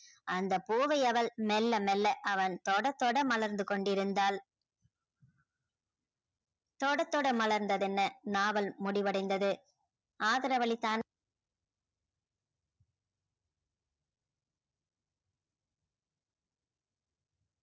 அந்த போவை அவள் மெல்ல மெல்ல அவன் தொட தொட மலர்ந்து கொண்டி இருந்தால தொட தொட மலர்ந்த தென்ன நாவல் முடிவடைந்தது ஆதரவளிதான்